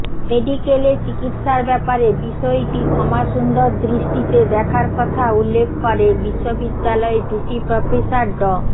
মেডিকেলে চিকিৎসার ব্যাপারে বিষয়টি ক্ষমাসুন্দর দৃষ্টিতে দেখার কথা উল্লেখ করে বিশ্ববিদ্যালয়ের ভিসি প্রফেসর ড